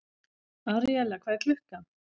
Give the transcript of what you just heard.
Aríella, hvað er klukkan?